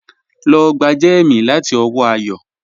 Lọ gbà jẹ́mí láti ọwọ́ Àyọ́